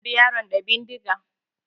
Na halbe yaron da bindiga.